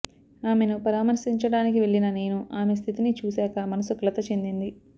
ఆమెను పరామర్శించడానికి వెళ్లిన నేను ఆమె స్థితిని చూశాక మనసు కలత చెందింది